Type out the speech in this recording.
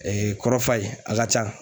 kɔrɔ f'a ye a ka ca